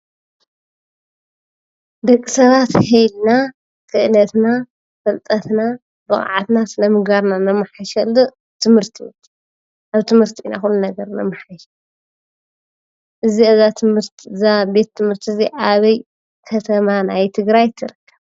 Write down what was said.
ደቂ ሰባት ሀ ኢልና ክእለትና፣ ፍልጠትና ፣ብቅዓትና፣ ስነ ምግባርና ነማሕሸሉ ትምህርቲ እዩ። ኣብ ትምህርቲ ኢና ኩሉ ነገር ነማሕይሽ እዚኣ ዛ ቤት ትምህርቲ እዚኣ ኣበይ ከተማ ናይ ትግራይ ትርከብ ?